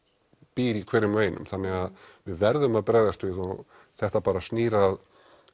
býr í hverjum og einum þannig að við verðum að bregðast við og þetta bara snýr að